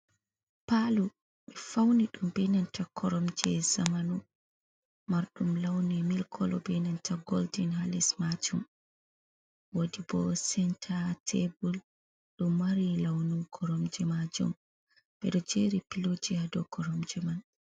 Paalo, ɓe fawni ɗum be nanta koromje zamanu marɗum lawni milk kolo be nanta golden ha les maajum, woodi bo senta tebul ɗu mari lawnu koromje maajum, ɓe ɗo jeri pilooji ha dow koromje man.